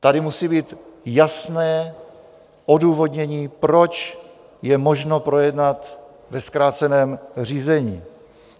Tady musí být jasné odůvodnění, proč je možno projednat ve zkráceném řízení.